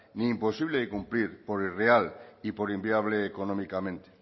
ni imposible de cumplir por irreal y por inviable económicamente